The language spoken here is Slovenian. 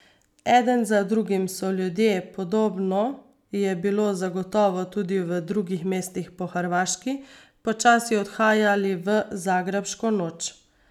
Eden za drugim so ljudje, podobno je bilo zagotovo tudi v drugih mestih po Hrvaški, počasi odhajali v zagrebško noč.